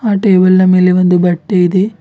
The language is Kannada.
ಟೇಬಲ್ ನ ಮೇಲೆ ಒಂದು ಬಟ್ಟೆ ಇದೆ.